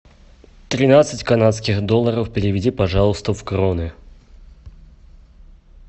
тринадцать канадских долларов переведи пожалуйста в кроны